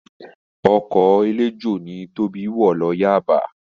Ọkọ̀ eléjò ni Tóbi wọ̀ lọ Yaba